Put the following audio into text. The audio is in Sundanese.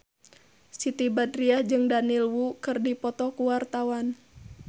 Siti Badriah jeung Daniel Wu keur dipoto ku wartawan